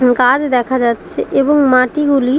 গাছ দেখা যাচ্ছে এবং মাটিগুলি --